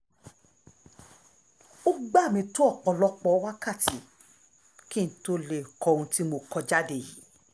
ó gbà mí tó ọ̀pọ̀lọpọ̀ wákàtí kí n tóó lè kọ ohun tí mo kọ jáde yìí